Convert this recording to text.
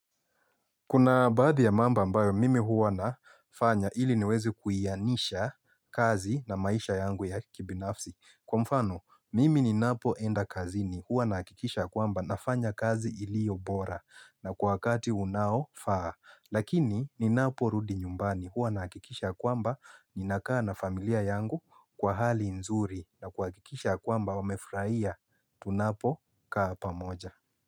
Kuna baadhi ya mamb ambayo mimi huwa nafanya ili niweze kuianisha kazi na maisha yangu ya kibinafsi. Kwa mfano, mimi ninapoenda kazini huwa nahakikisha kwamba nafanya kazi iliyo bora na kwa wakati unaofaa. Lakini ninaporudi nyumbani huwa nahakikisha kwamba ninakaa na familia yangu kwa hali nzuri na kuhakikisha kwamba wamefurahia tunapokaa pamoja.